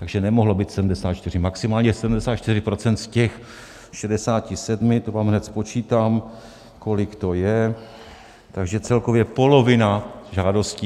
Takže nemohlo být 74, maximálně 74 % z těch 67, to vám hned spočítám, kolik to je, takže celkově polovina žádostí.